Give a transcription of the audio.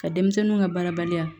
Ka denmisɛnninw ka baarabaliya